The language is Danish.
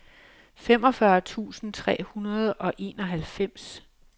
femogfyrre tusind tre hundrede og enoghalvfems